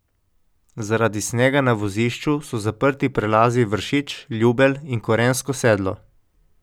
Zaradi snega na vozišču so zaprti prelazi Vršič, Ljubelj in Korensko sedlo.